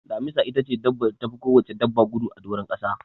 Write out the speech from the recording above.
Damisa itace dabbar da tafi kowacce dabba gudu a doron kasa.